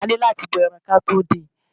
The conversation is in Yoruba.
A ni láti bọ ẹran ki a to dín-in.